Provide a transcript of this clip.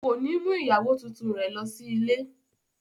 Ko ni mú ìyàwó tuntun rẹ lọ sí ilé.